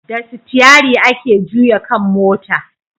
Da sitiyari ake juya kan mota